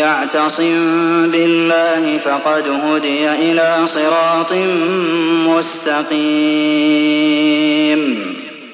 يَعْتَصِم بِاللَّهِ فَقَدْ هُدِيَ إِلَىٰ صِرَاطٍ مُّسْتَقِيمٍ